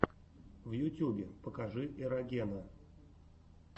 в ютьюбе покажи эрогена